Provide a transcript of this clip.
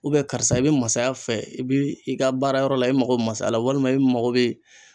karisa i bɛ masaya fɛ i bi i ka baara yɔrɔ la i mako masaya la walima i mago bɛ